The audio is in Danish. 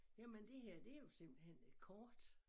Jamen det her det jo simpelthen et kort